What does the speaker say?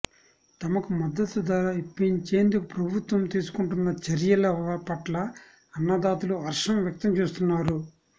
తమకు మద్దతు ధర ఇప్పించేందుకు ప్రభుత్వం తీసుకుంటున్న చర్యల పట్ల అన్నదాతలు హర్షం వ్యక్తం చేస్తున్నారు